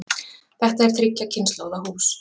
Þetta er þriggja kynslóða hús.